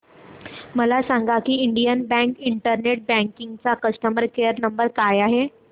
मला सांगा की इंडियन बँक इंटरनेट बँकिंग चा कस्टमर केयर नंबर काय आहे